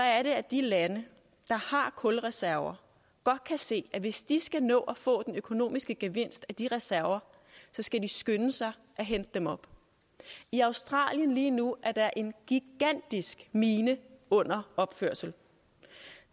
er det at de lande der har kulreserver godt kan se at hvis de skal nå at få den økonomiske gevinst af de reserver skal de skynde sig at hente dem op i australien lige nu er der en gigantisk mine under opførelse